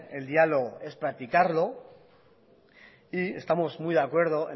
el diálogo es practicarlo y estamos muy de acuerdo